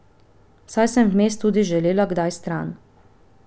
Saj sem vmes tudi želela kdaj stran.